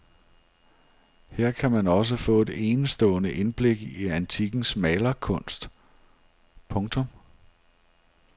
Her kan man også få et enestående indblik i antikkens malerkunst. punktum